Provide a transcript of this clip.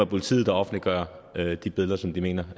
politiet der offentliggør de billeder som de mener